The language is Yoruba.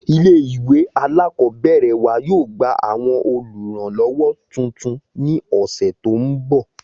Ilé ìwé alákọ̀ọ́bẹ̀rẹ̀ wa yóò gba àwọn olùrànlọ́wọ́ tuntun ni ọ̀sẹ̀ tó ń bọ̀